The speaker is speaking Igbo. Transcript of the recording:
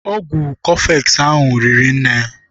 Ọgwụ kofex ahụ riri nne.